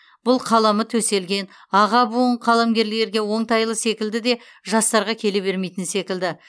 бұл қаламы төселген аға буын қаламгерлерге оңтайлы секілді де жастарға келе бермейтін секілді